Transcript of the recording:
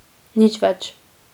Nič več.